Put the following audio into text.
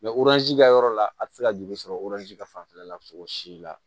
ka yɔrɔ la a ti se ka joli sɔrɔ ka fanfɛla la sogo si la